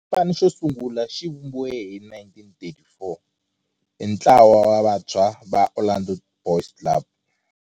Xipano xosungula xivumbiwile hi 1934 hi ntlawa wa vantshwa va Orlando Boys Club.